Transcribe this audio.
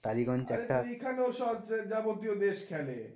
টালিগঞ্জ একটা আরে তো এখানেও সব যাবতীয় দেশ খেলে।